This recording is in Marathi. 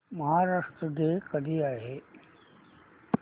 महाराष्ट्र डे कधी आहे